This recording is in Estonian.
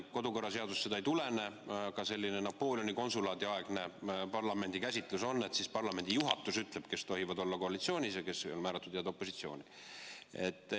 Kodukorraseadusest see ei tulene, aga juba Napoleoni konsulaadi aegne parlamendi käsitlus on selline, et siis parlamendi juhatus ütleb, kes tohivad olla koalitsioonis ja kes on määratud opositsiooni.